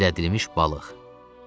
Gizlədilmiş balıq.